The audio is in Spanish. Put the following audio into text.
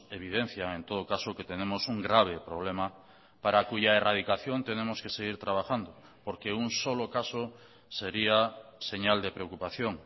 evidencian en todo caso que tenemos un grave problema para cuya erradicación tenemos que seguir trabajando porque un solo caso sería señal de preocupación